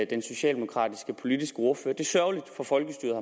den socialdemokratiske politiske ordfører det er sørgeligt for folkestyret